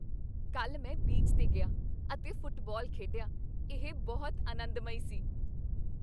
ਕੱਲ੍ਹ ਮੈਂ ਬੀਚ 'ਤੇ ਗਿਆ ਅਤੇ ਫੁੱਟਬਾਲ ਖੇਡਿਆ ਇਹ ਬਹੁਤ ਅਨੰਦਮਈ ਸੀ